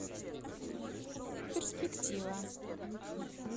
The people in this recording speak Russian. перспектива